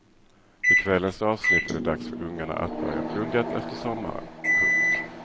I kvällens avsnitt är det dags för ungarna att börja plugget efter sommaren. punkt